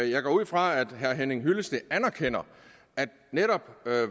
jeg går ud fra at herre henning hyllested anerkender at netop